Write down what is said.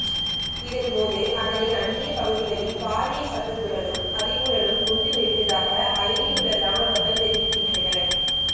இதன்போது அதனை அண்டிய பகுதிகளில் பாரிய சத்தத்துடனும் அதிர்வுடனும் குண்டு வெடித்ததாக அயலில் உள்ள கிராம மக்கள் தெரிவிக்கின்றனர்